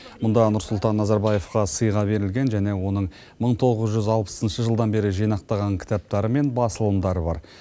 мұнда нұрсұлтан назарбаевқа сыйға берілген және оның мың тоғыз жүз алпысыншы жылдан бері жинақтаған кітаптары мен басылымдары бар